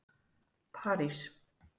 París